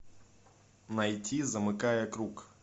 найти замыкая круг